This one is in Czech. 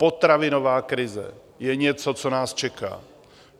Potravinová krize je něco, co nás čeká.